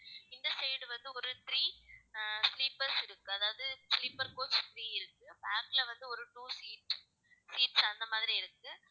இந்த side வந்து, ஒரு three ஆஹ் sleepers இருக்கு அதாவது sleeper coach three இருக்கு back ல வந்து, ஒரு two seats அந்த மாதிரி இருக்கு